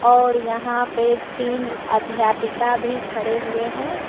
और यहां पे तीन अध्यापिका भी खड़े हुए हैं।